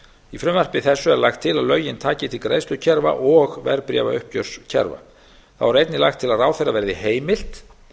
í frumvarpi þessu er lagt til að lögin taki til greiðslukerfa og verðbréfauppgjörskerfa þá er einnig lagt til að ráðherra verði heimilt